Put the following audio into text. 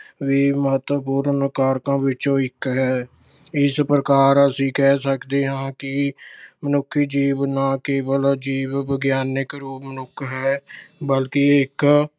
ਵੀ ਮਹਤੱਵਪੂਰਨ ਕਾਰਕਾਂ ਵਿੱਚੋਂ ਇੱਕ ਹੈ। ਇਸ ਪ੍ਰਕਾਰ ਅਸੀਂ ਕਹਿ ਸਕਦੇ ਹਾਂ ਕਿ ਮਨੁੱਖੀ ਜੀਵ ਨਾ ਕੇਵਲ ਜੀਵ ਵਿਗਿਆਨਕ ਰੂਪ ਮਨੁੱਖ ਹੈ, ਬਲਕਿ ਇਹ ਇਕ